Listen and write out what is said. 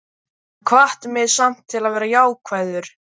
Hann hvatti mig samt til að vera jákvæður.